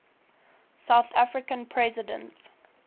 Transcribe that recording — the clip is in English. south african president